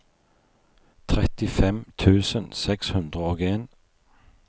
trettifem tusen seks hundre og en